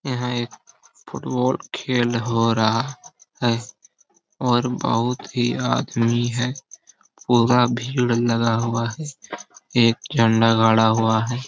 यहां एक फुटबॉल खेल हो रहा है और बहुत ही आदमी है पूरा भीड़ लगा हुआ है एक झंडा गड़ा हुआ है।